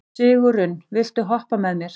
Sigurunn, viltu hoppa með mér?